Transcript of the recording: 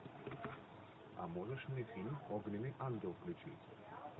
а можешь мне фильм огненный ангел включить